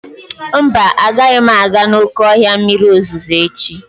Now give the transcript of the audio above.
Mba, agaghị m aga n'oké ọhịa mmiri ozuzo echi.